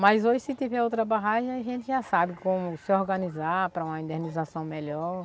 Mas hoje se tiver outra barragem, a gente já sabe como se organizar para uma indenização melhor.